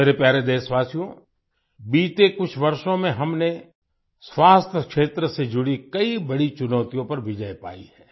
मेरे प्यारे देशवासियो बीते कुछ वर्षों में हमने स्वास्थ्य क्षेत्र से जुड़ी कई बड़ी चुनौतियों पर विजय पाई है